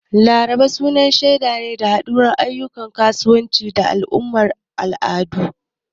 Laraba su na shaida haɗuwar ayyukan kasuwa da al'amuran al'adu.